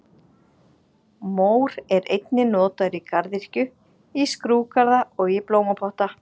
Mór er einnig notaður í garðyrkju, í skrúðgarða og í blómapotta.